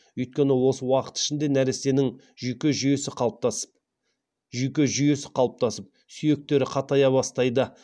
өйткені осы уақыт ішінде нәрестенің жүйке жүйесі қалыптасып сүйектері қатая бастайды